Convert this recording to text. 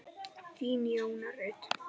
Þín, Jóna Rut.